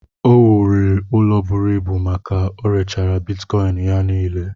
O wụlịrị ụlọ bụrụ ịbù ka orèchara Bịtkọin ya nile